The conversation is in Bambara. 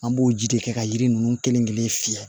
An b'o ji de kɛ ka yiri ninnu kelen kelen fiyɛ